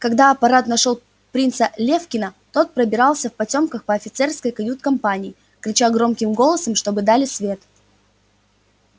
когда аппарат нашёл принца левкина тот пробирался в потёмках по офицерской кают-компании крича громким голосом чтобы дали свет